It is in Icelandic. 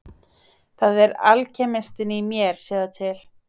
Það er alkemistinn í mér sjáðu til.